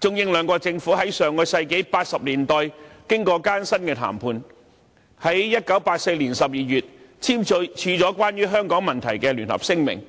中、英兩國政府在1980年代經過艱辛的談判，在1984年12月簽署了關於香港問題的聯合聲明，